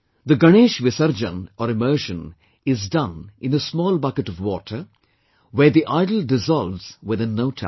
The Ganesh Visarjan or immersion is done in a small bucket of water, where the idol dissolves within no time